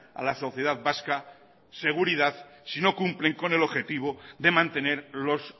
a la sociedad vasca seguridad si no cumplen con el objetivo de mantener los